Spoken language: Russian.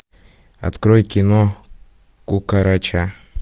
открой кино кукарача